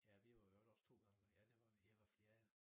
Ja vi var i øvrigt også 2 gange ja det var vi jeg var fjerde